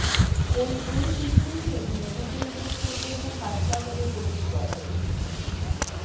ওই দুই কিশোরীকেই মেডিকেল টেস্টের জন্য হাসপাতালে ভর্তি করা হয়েছে